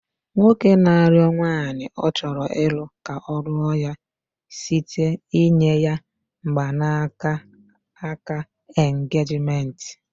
Nwoke na arịo nwanyị ọ chọrọ ịlụ ka ọ lụo ya site n'inye mgbanaka aka engagement